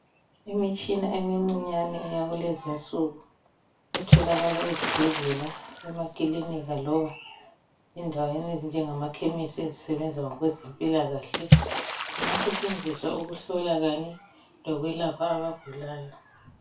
imitshina emincinyane eyakulezinsuku etholakala ezibhedlela emakilinika loba endaweni ezinjengamakhemesi ezisebenza ngokwezempilakahle iyasetshenziswa ukuhlola kanye lokwelapha abagulayo